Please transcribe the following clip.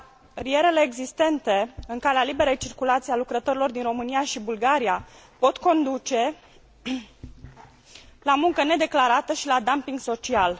Barierele existente în calea liberei circulații a lucrătorilor din România și Bulgaria pot conduce la muncă nedeclarată și la dumping social.